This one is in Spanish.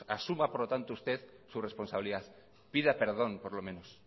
asuma por lo tanto usted su responsabilidad pida perdón por lo menos